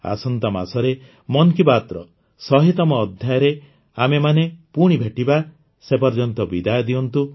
ଆସନ୍ତା ମାସରେ ମନ୍ କି ବାତ୍ର ୧୦୦ତମ ଅଧ୍ୟାୟରେ ଆମେମାନେ ପୁଣି ଭେଟିବା ସେପର୍ଯ୍ୟନ୍ତ ବିଦାୟ ଦିଅନ୍ତୁ